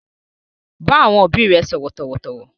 Bá àwọn òbí rẹ sọ̀rọ̀ tọ̀wọ̀tọ̀wọ̀!